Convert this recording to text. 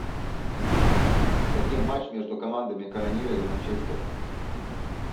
хотим матч между командами канониры и манчестер